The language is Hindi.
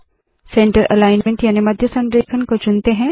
सेंटर अलाइन्मन्ट याने मध्य संरेखण को चुनते है